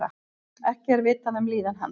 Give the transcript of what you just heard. Ekki er vitað um líðan hans